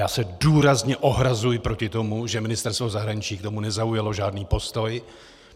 Já se důrazně ohrazuji proti tomu, že Ministerstvo zahraničí k tomu nezaujalo žádný postoj.